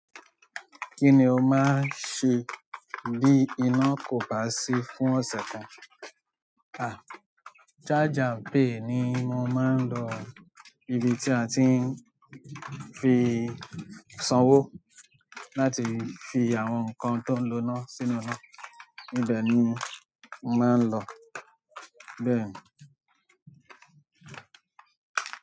Kí ni o máa ń ṣe bí iná kò bá sí fún ọ̀sẹ̀ kan? A charge and pay ni mo maa n lọ ibi tí a ti ń fi sanwó láti fi àwọn nǹkan tó ń lo iná sínú iná. Níbẹ̀ ni mo máa ń lọ. Bẹ́ẹ̀ ni.